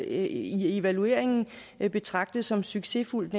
i evalueringen betragtet som succesfuldt